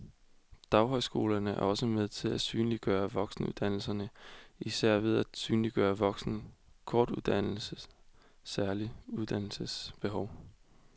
Daghøjskolerne er også med til at synliggøre voksenuddannelserne og især med til at synliggøre voksne kortuddannedes særlige uddannelsesbehov.